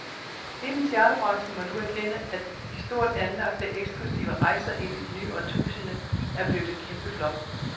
Hele charterbranchen må nu erkende, at de stort anlagte, eksklusive rejser ind i det nye årtusinde er blevet et kæmpeflop.